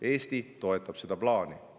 Eesti toetab seda plaani.